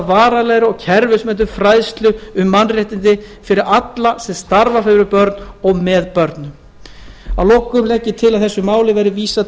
varanlegri og kerfisbundinni fræðslu um mannréttindi fyrir alla sem starfa fyrir börn og með börnum að lokum legg ég til að þessu máli verði vísað